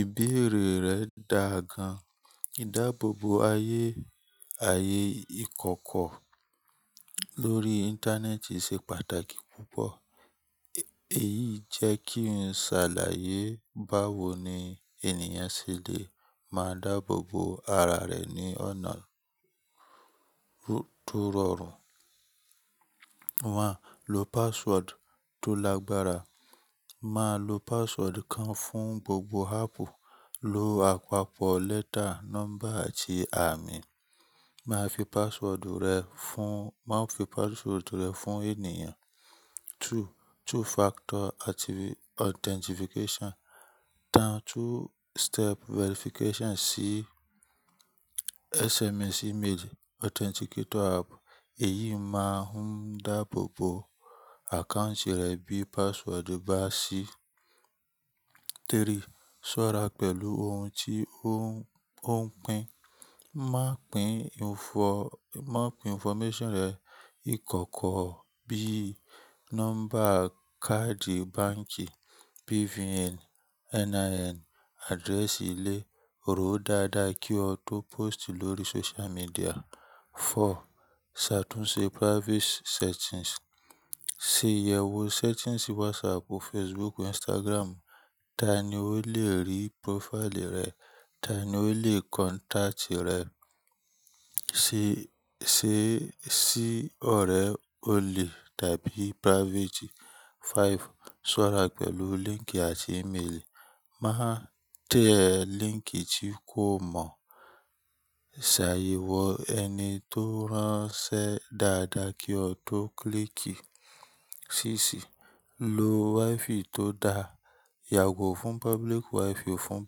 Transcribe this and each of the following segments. Ìbéèrè rẹ̀ dàa gan. Ìdáàbòbò ayé, ayé ìkọ̀kọ̀ lórí Íńtánẹ́ẹ̀tì ṣe pàtàkì púpọ̀. Èyí jẹ́ kí n ṣàlàyé báwo ni ènìyàn ṣe lè máa dáàbòbò ara rẹ̀ ní ọ̀nà tó rọrùn. One, Lo password tó lágbára. Máa lo password kan fún gbogbo áàpù, lo àpapọ̀ letter, number àti àmì. Máa fi password rẹ fún, má fi password rẹ̀ fún ènìyàn. Two, two factor active authentication. Tan two step verification sí SMS, email, authenticator app. Èyí máa ń dáàbòbò account rẹ bí password bá ṣí. Three, ṣọ́ra pẹ̀lú ohun tí ó ń pín. Má pín info, má pín information rẹ ìkọ̀kọ̀ bíi number káàdì báǹkì, BVN, NIN, address ilé, ròó dáadáa kí ó tó post lórí social media. Four, ṣàtúnṣe privacy settings. Ṣe ìyẹ̀wo settings WhatsApp, Facebook, Instagram. Taani ó lè rí profile rẹ? Tani ó lè contact rẹ? Se, ṣe sí ọ̀rẹ́ òní tàbí private. Five, ṣọ́ra pẹ̀lú link àti email. Má tẹ link tí kò mọ. Sàyewọ́ ẹni tó ránṣẹ́ dáadáa kí ó tó klíìkì. Síx, lo Wi-Fi tó da. Yàgò fún public Wi-Fi fún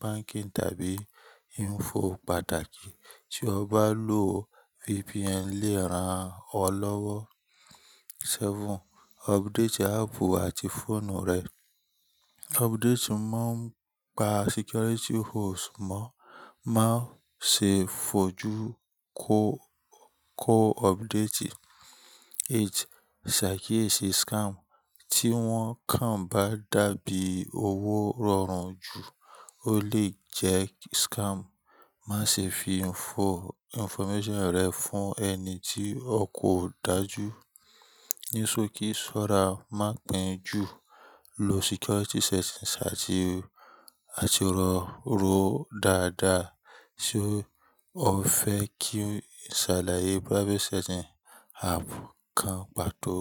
banking tàbí info pàtàkì. Tí o bá lò VPN léèrán ọ lọ́wọ́. Seven, update app àti phone rẹ. Update má ń pa security holes mọ́. Má ṣe fojú kó, kó update. Eight, ṣàkíyèsí scam. Tí wọ́n kàn bá dàbí owó rọrùn jù ó lè jẹ́ scam. Má ṣe fi info, information rẹ fún ẹni tí o kò dájú. Ní sokí, ṣọ́ra, má pín ju. Lo security settings àti, àti ròó dáadáa. Se o fẹ́ kí n ṣàlàyé privacy setting app kan pàtó.